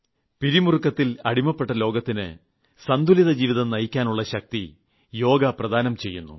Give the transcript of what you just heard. പിരിമുറുക്കത്തിൽ അടിപ്പെട്ട ലോകത്തിന് സന്തുലിതജീവിതം നയിക്കാനുളള ശക്തി യോഗ പ്രദാനം ചെയ്യുന്നു